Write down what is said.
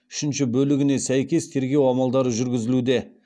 үшінші бөлігіне сәйкес тергеу амалдары жүргізілуде